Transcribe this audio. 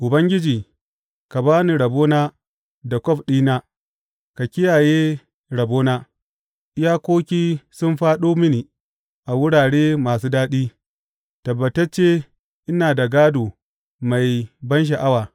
Ubangiji, ka ba ni rabona da kwaf ɗin na; ka kiyaye rabona, Iyakoki sun fāɗo mini a wurare masu daɗi; tabbatacce ina da gādo mai bansha’awa.